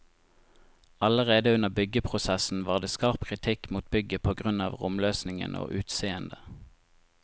Allerede under byggeprosessen var det skarp kritikk mot bygget på grunn av romløsningen og utseendet.